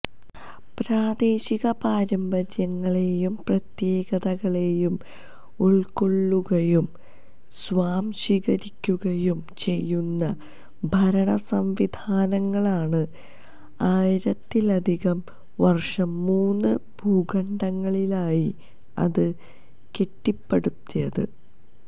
പ്രാദേശിക പാരമ്പര്യങ്ങളെയും പ്രത്യേകതകളെയും ഉള്ക്കൊള്ളുകയും സ്വാംശീകരിക്കുകയും ചെയ്യുന്ന ഭരണ സംവിധാനങ്ങളാണ് ആയിരത്തിലധികം വര്ഷം മൂന്ന് ഭൂഖണ്ഡങ്ങളിലായി അത് കെട്ടിപ്പടുത്തത്